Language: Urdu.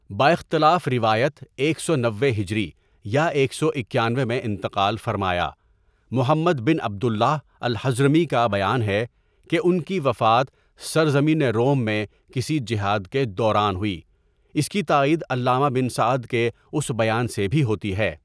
باختلاف روایت ایک سو نوے ہجری یا ایک سو اکانوے میں انتقال فرمایا، محمد بن عبداللہ الحضرمی کا بیان ہے کہ ان کی وفات سرزمین روم میں کسی جہاد کے دوران ہوئی اس کی تائید علامہ بن سعد کے اس بیان سے بھی ہوتی ہے.